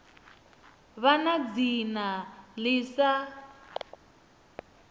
vha na dzina ḽi sa